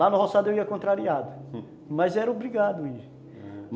Lá no roçado eu ia contrariado, mas era obrigado ir.